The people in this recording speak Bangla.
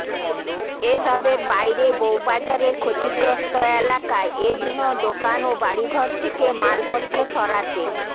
এ সবের বাইরে বৌবাজারের ক্ষতিগ্রস্ত এলাকায় এ দিনও দোকান ও বাড়িঘড় থেকে মালপত্র সরাতে